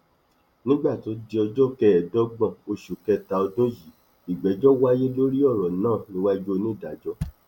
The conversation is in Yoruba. nígbà tó di ọjọ kẹẹẹdọgbọn oṣù kẹta ọdún yìí ìgbẹjọ wáyé lórí ọrọ náà níwájú onídàájọ l